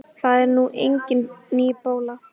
Það er nú engin ný bóla.